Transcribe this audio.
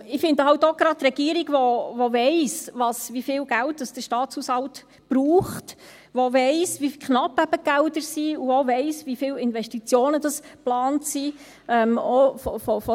Ich finde halt auch, dass es von daher wichtig ist, gerade für die Regierung, die weiss, wie viel Geld der Staatshaushalt braucht, die weiss, wie knapp die Gelder eben sind, und die auch weiss, wie viele Investitionen geplant sind.